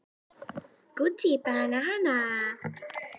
Þarf ég þá að stafa það ofan í þig?